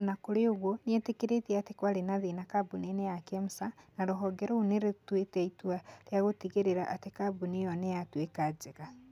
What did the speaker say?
O na kũrĩ ũguo, nĩ etĩkĩrĩte atĩ kwarĩ na thĩĩna kambũni-inĩ ya Kemsa na rũhonge rũu nĩ rũtuĩte itua rĩa gũtigĩrĩra atĩ kambũni ĩo nĩ yatuĩka njega.